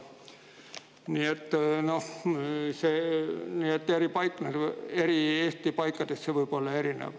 Nii et Eesti eri paikades võib see olla erinev.